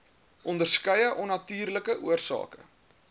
onderskeie onnatuurlike oorsake